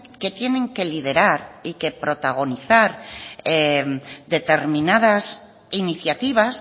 que tienen que liderar y que protagonizar determinadas iniciativas